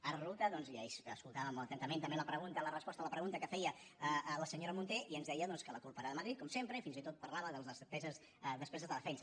ara resulta doncs i ahir escoltàvem molt atentament també la pregunta la resposta a la pregunta que feia la senyora munté i ens deia doncs que la culpa era de madrid com sempre i fins i tot parlava de les despeses de defensa